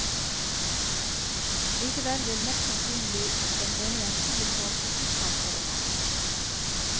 Likevel vil mest sannsynlig den ene jenten bli foretrukket framfor den andre.